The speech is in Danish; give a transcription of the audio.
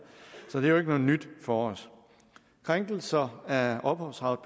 så det er jo nyt for os krænkelser af ophavsret